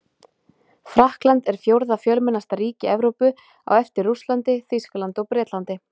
Frakkland er fjórða fjölmennasta ríki Evrópu á eftir Rússlandi, Þýskalandi og Bretlandi.